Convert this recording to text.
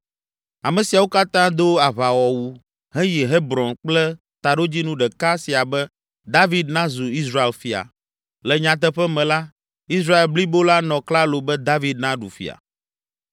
Ame siawo katã do aʋawɔwu heyi Hebron kple taɖodzinu ɖeka sia be David nazu Israel fia. Le nyateƒe me la, Israel blibo la nɔ klalo be David naɖu fia.